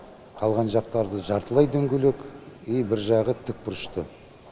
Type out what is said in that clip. қалған жақтары да жартылай дөңгелек и бір жағы тікбұрышты